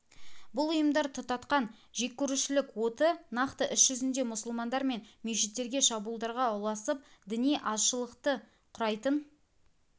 бұл ұйымдар тұтатқан жеккөрушілік оты нақты іс жүзінде мұсылмандар мен мешіттерге шабуылдарға ұласып діни азшылықты құрайтын